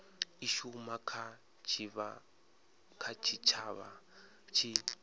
i shuma kha tshitshavha tshi